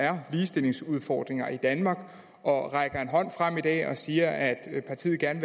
er ligestillingsudfordringer i danmark og rækker en hånd frem i dag og siger at partiet gerne